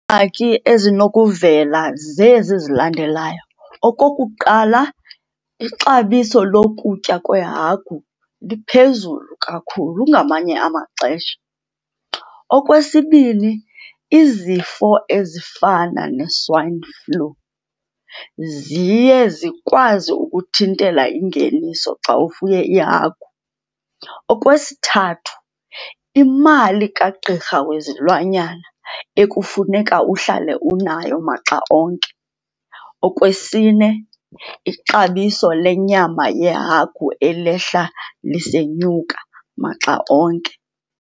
ezinokuvela zezi zilandelayo. Okokuqala, ixabiso lokutya kweehagu liphezulu kakhulu ngamanye amaxesha. Okwesibini, izifo ezifana ne-swine flu ziye zikwazi ukuthintela ingeniso xa ufuye iihagu. Okwesithathu, imali kagqirha wezilwanya ekufuneka uhlale unayo maxa onke. Okwesine, ixabiso lenyama yehagu elehla lisenyuka maxa onke.